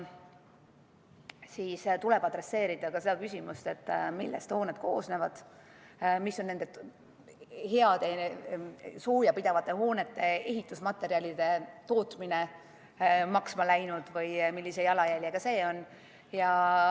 Siin tuleb arvestada ka seda, millest hooned koosnevad, kui palju on nende heade soojapidavate hoonete ehitusmaterjalide tootmine maksma läinud või millise jalajäljega see on.